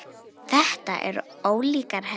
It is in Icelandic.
Þetta eru ólíkar hefðir.